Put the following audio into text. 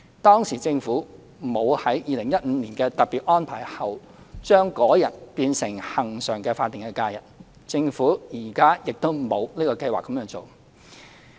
當時政府沒有在2015年的特別安排後，將該日變成恆常的法定假日，政府現時亦沒有計劃這樣做。